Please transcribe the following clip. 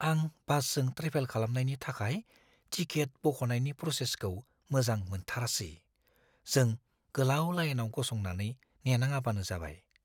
आं बासजों ट्रेभेल खालामनायनि थाखाय टिकेट बख'नायनि प्र'सेसखौ मोजां मोनथारासै; जों गोलाव लाइनआव गसंनानै नेनाङाबानो जाबाय।